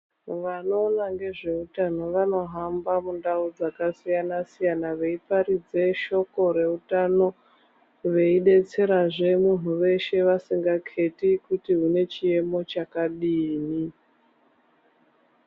Vanoona ngezveutano vanohamba mundau dzakasiyana siyana veiparidze shoko reutano, vei detserazve munhu weshe vasingakheti kuti une chiemo chakadini.